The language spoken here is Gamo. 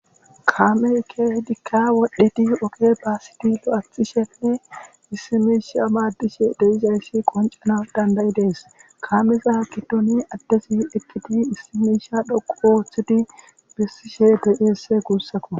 Kaameyi keehidika wodhidi oge basid lo'ethishenne issi misha madishe dixaie qonce gidides.